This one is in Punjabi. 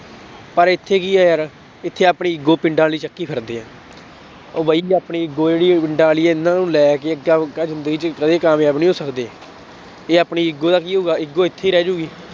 ਪਰ ਇੱਥੇ ਕੀ ਹੈ ਯਾਰ ਇੱਥੇ ਆਪਣੀ ego ਪਿੰਡਾਂ ਵਾਲੀ ਚੱਕੀ ਫਿਰਦੇ ਆ ਉਹ ਬਾਈ ਆਪਣੀ ego ਜਿਹੜੀ ਪਿੰਡਾਂ ਵਾਲੀ ਹੈ ਇਹਨਾਂ ਨੂੰ ਲੈ ਕੇ ਜ਼ਿੰਦਗੀ ਚ ਕਦੇ ਕਾਮਯਾਬ ਨੀ ਹੋ ਸਕਦੇ, ਇਹ ਆਪਣੀ ego ਕੀ ਹੋਊਗਾ ego ਇੱਥੇ ਹੀ ਰਹਿ ਜਾਊਗੀ